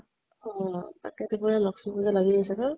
অ । তাকেতো কিবা লক্ষী পুজা লাগি আছে ন?